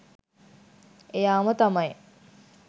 එයාම තමයි.